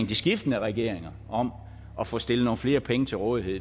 de skiftende regeringer om at få stillet nogle flere penge til rådighed